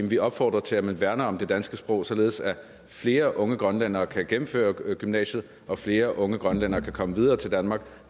vi opfordrer til at man værner om det danske sprog således at flere unge grønlændere kan gennemføre gymnasiet og flere unge grønlændere kan komme videre til danmark og